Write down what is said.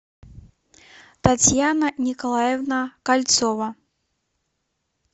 татьяна николаевна кольцова